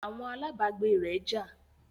Àwọn alábágbé rẹ̀ jà